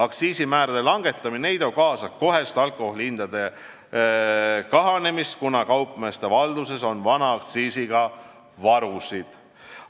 Aktsiisimäärade langetamine ei too kaasa kohest alkoholihindade kahanemist, kuna kaupmeeste valduses on vana aktsiisiga varusid.